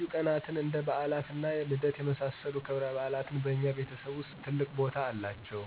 ልዩ ቀናትን እንደ በዓላት እና ልደት የመሳሰሉት ክብረበዓላት በእኛ ቤተሰብ ውስጥ ትልቅ ቦታ አላቸው።